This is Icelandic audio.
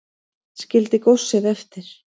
Skildi góssið eftir